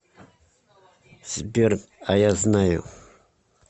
сбер а я знаю